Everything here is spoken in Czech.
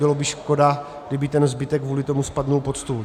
Bylo by škoda, kdyby ten zbytek kvůli tomu spadl pod stůl.